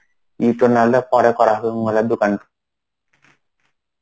এটো না হলে পরে করা হবে mobile এর দোকানটা.